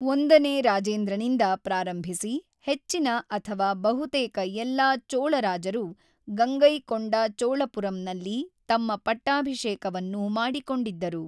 ಒಂದನೇ ರಾಜೇಂದ್ರನಿಂದ ಪ್ರಾರಂಭಿಸಿ ಹೆಚ್ಚಿನ ಅಥವಾ ಬಹುತೇಕ ಎಲ್ಲಾ ಚೋಳ ರಾಜರು ಗಂಗೈಕೊಂಡ ಚೋಳಪುರಂನಲ್ಲಿ ತಮ್ಮ ಪಟ್ಟಾಭಿಷೇಕವನ್ನು ಮಾಡಿಕೊಂಡಿದ್ದರು.